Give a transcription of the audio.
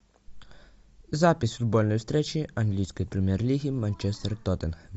запись футбольной встречи английской премьер лиги манчестер тоттенхэм